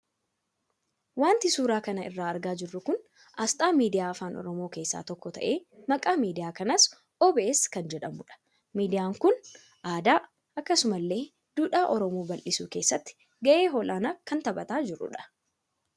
Waanti suura kana irraa argaa jirru kun asxaa meediyaa afaan oromoo keessaa tokko tahee maqaan meediyaa kanaas OBS kan jedhamudha. Meediyaan kun aadaa akkasuma illee duudhaa oromoo ballisuu keessatti gahee olaanaa kan taphataa jirudha.